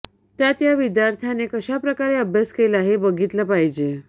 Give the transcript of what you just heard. त्यात या विद्यार्थ्याने कशाप्रकारे अभ्यास केला हे बघितले पाहिजे